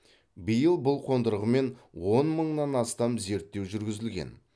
биыл бұл қондырғымен он мыңнан астам зерттеу жүргізілген